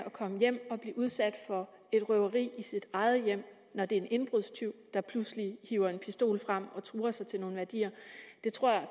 at komme hjem og blive udsat for et røveri i sit eget hjem når det er en indbrudstyv der pludselig hiver en pistol frem og truer sig til nogle værdier det tror jeg